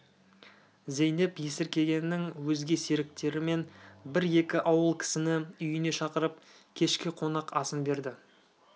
зейнеп есіркегеннің өзге серіктері мен бір-екі ауыл кісіні үйіне шақырып кешкі қонақ асын берді